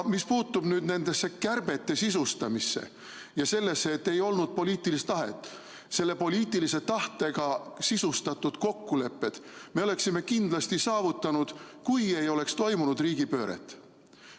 Mis puutub nende kärbete sisustamisse ja sellesse, et ei olnud poliitilist tahet, siis selle poliitilise tahtega sisustatud kokkulepped me oleksime kindlasti saavutanud, kui ei oleks toimunud riigipööret.